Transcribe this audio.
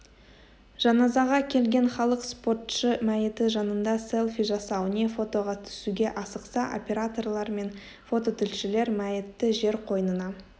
жаназаға келген халық спортшы мәйіті жанында селфи жасау не фотоға түсуге асықса операторлар мен фототілшілер мәйітті жер қойнына